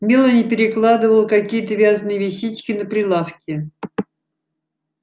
мелани перекладывала какие-то вязаные вещички на прилавке